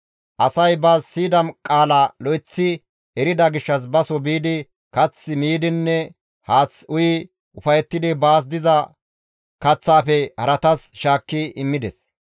Asay ba siyida qaala lo7eththi erida gishshas baso biidi kath miidinne haath uyi ufayettidi baas diza kaththaafe haratas shaakki immides.